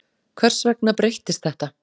Hvers vegna breyttist þetta?